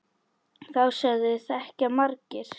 Þá sögu þekkja margir.